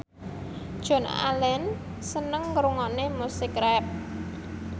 Joan Allen seneng ngrungokne musik rap